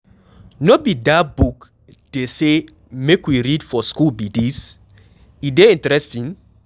No be dat book dey say make we read for shool be dis? E dey interesting?